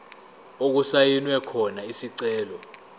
okusayinwe khona isicelo